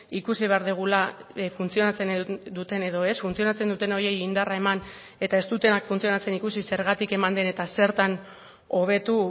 ikusi behar dugula funtzionatzen duten edo ez funtzionatzen duten horiei indarra eman eta ez dutenak funtzionatzen ikusi zergatik eman den eta zertan hobetu